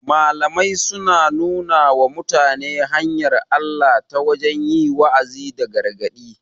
Malamai suna nuna wa mutane hanyar Allah ta wajen yi wa'azi da gargaɗi